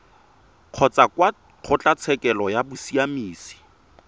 kgotsa kwa kgotlatshekelo ya bosiamisi